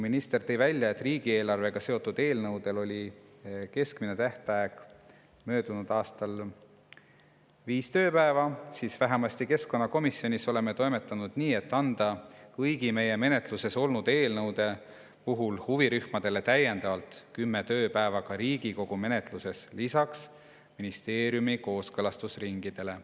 Minister tõi välja, et riigieelarvega seotud eelnõude puhul oli keskmine tähtaeg möödunud aastal viis tööpäeva, aga vähemasti keskkonnakomisjonis oleme toimetanud nii, et anda kõigi meie menetluses olnud eelnõude puhul huvirühmadele täiendavalt 10 tööpäeva ka Riigikogu menetluses, seda siis lisaks ministeeriumi kooskõlastusringidele.